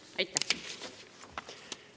Aitäh!